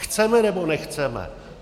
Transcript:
Chceme, nebo nechceme?